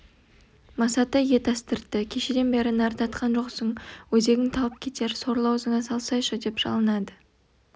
масаты ет астыртты кешеден бері нәр татқан жоқсың өзегің талып кетер сорлы аузыңа салсайшы деп жалынады